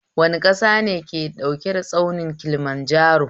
Wane ƙasa ne ke da tsaunin Kilimanjaro?